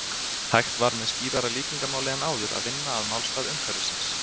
Hægt var með skýrara líkingamáli en áður að vinna að málstað umhverfisins.